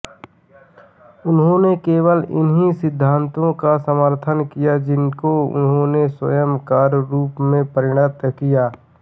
उन्होंने केवल उन्हीं सिद्धान्तों का समर्थन किया जिनको उन्होंने स्वयं कार्यरूप में परिणत किया